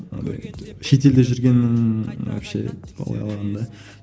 анадай шетелде жүргеннің вообще